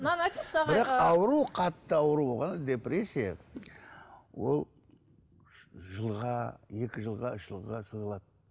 мынаны айтыңызшы қатты ауруға депрессия ол жылға екі жылға үш жылға созылады